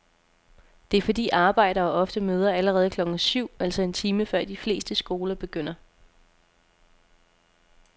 Det er fordi arbejdere ofte møder allerede klokken syv, altså en time før de fleste skoler begynder.